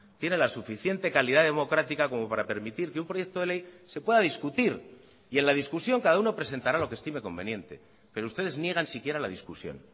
tiene la suficiente calidad democrática como para permitir que un proyecto de ley se pueda discutir y en la discusión cada uno presentará lo que estime conveniente pero ustedes niegan siquiera la discusión